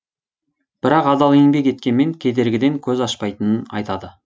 бірақ адал еңбек еткенмен кедергіден көз ашпайтынын айтады